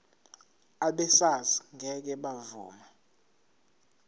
abesars ngeke bavuma